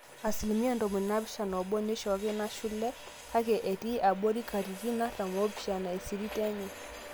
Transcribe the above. asilimia 71% neishooki nashule kake etii abori katitin artam oopishana esirit enye